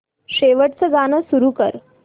शेवटचं गाणं सुरू कर